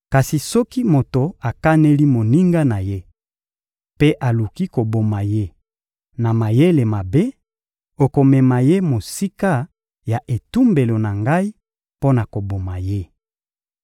Kasi soki moto akaneli moninga na ye mpe aluki koboma ye na mayele mabe, okomema ye mosika ya etumbelo na Ngai mpo na koboma ye.